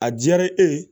A diyara e ye